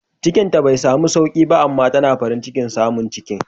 Cikinta bai samu sauki ba amma tana farin cikin samun ciki